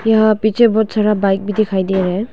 यह पीछे बहुत सारा बाइक भी दिखाई दे रहा है।